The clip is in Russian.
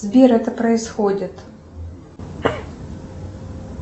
сбер это происходит